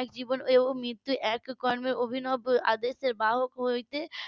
এক জীবন হয়েও মৃত্যু এক কর্মে অভিনব আদেশের বাহক হতে